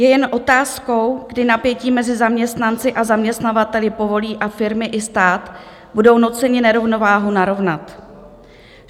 Je jen otázkou, kdy napětí mezi zaměstnanci a zaměstnavateli povolí a firmy i stát budou nuceny nerovnováhu narovnat.